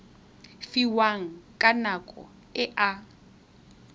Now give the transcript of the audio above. fiwang ka nako e a